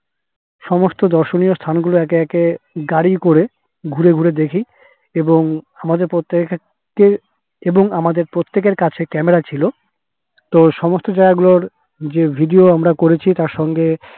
সমস্ত দর্শনীয় স্থান গুলো একে একে গাড়ি করে ঘুরে ঘুরে দেখি এবং আমাদের প্রত্যেকের এবং আমাদের প্রত্যেকের কাছে camera ছিল তো সমস্ত জায়গা গুলোর যে video আমরা করেছি তার সঙ্গে